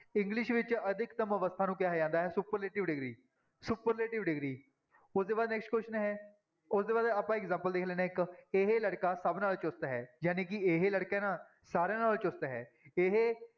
English ਵਿੱਚ ਅਧਿਕਤਮ ਅਵਸਥਾ ਨੂੰ ਕਿਹਾ ਜਾਂਦਾ ਹੈ superlative degree, superlative degree ਉਹਦੇ ਬਾਅਦ next question ਹੈ ਉਹਦੇ ਬਾਅਦ ਆਪਾਂ example ਦੇਖ ਲੈਂਦੇ ਹਾਂ ਇੱਕ, ਇਹ ਲੜਕਾ ਸਭ ਨਾਲੋਂ ਚੁਸਤ ਹੈ, ਜਾਣੀ ਕਿ ਇਹ ਲੜਕਾ ਹੈ ਨਾ ਸਾਰਿਆਂ ਨਾਲੋਂ ਚੁਸਤ ਹੈ, ਇਹ